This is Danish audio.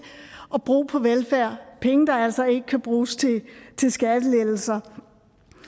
at bruge på velfærd penge der altså ikke kan bruges til skattelettelser